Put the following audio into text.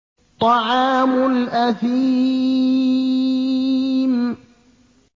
طَعَامُ الْأَثِيمِ